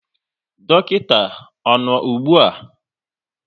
Dọkịta ọ nọ ụgbụa?